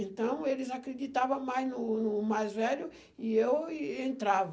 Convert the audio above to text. Então, eles acreditavam mais no no mais velho, e eu entrava.